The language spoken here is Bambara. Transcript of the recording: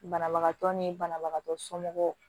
Banabagatɔ ni banabagatɔ somɔgɔw